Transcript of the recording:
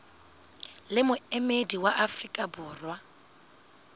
le moemedi wa afrika borwa